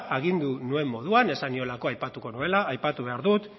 agindu nuen moduan esan niolako aipatuko nuela aipatu behar dut